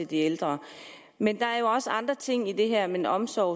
de ældre men der er jo også andre ting i det her end omsorg